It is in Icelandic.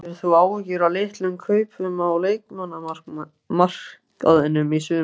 Hefur þú áhyggjur af litlum kaupum á leikmannamarkaðinum í sumar?